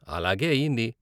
అలాగే అయింది.